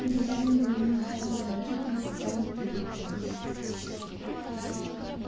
и старинная мечтательная жизнь встанет перед тобою